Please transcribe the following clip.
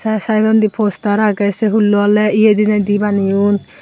tee side dw di poster age say hullo ole eya dinay du baneyoun.